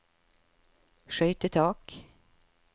skøytetak